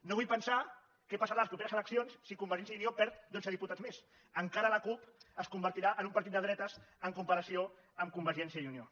no vull pensar què passarà a les properes eleccions si convergència i unió perd dotze diputats més encara la cup es convertirà en un partit de dretes en comparació amb convergència i unió